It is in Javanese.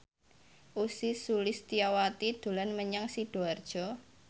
Ussy Sulistyawati dolan menyang Sidoarjo